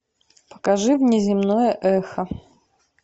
покажи мне земное эхо